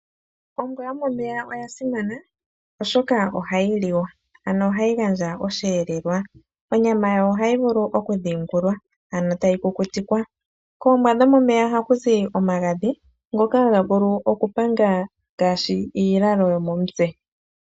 Ombwa yomomeya oya simana oshoka ohayi liwa ano ohayi gandja osheelelwa. Omyama yawo ohayi vulu okudhiingulwa etayi kukutikwa. Koombwa dhomomeya ohaku zi omagadhi ngoka haga panga ngaashi iilalo yomomutse.